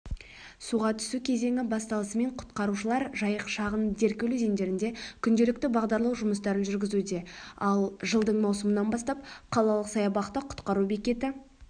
суға түсу кезеңі басталысымен құтқарушылар жайық шаған деркөл өзендерінде күнделікті бағдарлау жұмыстарын жүргізуде ал жылдың маусымынан бастап қалалық саябақта құтқару бекеті